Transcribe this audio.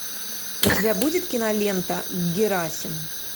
у тебя будет кинолента герасим